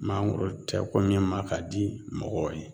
Mangoro tɛ ko min ma ka di mɔgɔw ye.